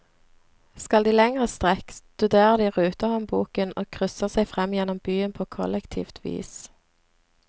Skal de lengre strekk, studerer de rutehåndboken og krysser seg frem gjennom byen på kollektivt vis.